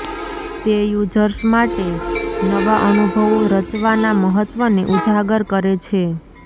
તે યુઝર્સ માટે નવા અનુભવો રચવાના મહત્ત્વને ઉજાગર કરે છે